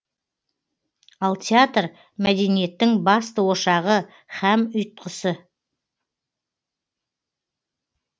ал театр мәдениеттің басты ошағы һәм ұйытқысы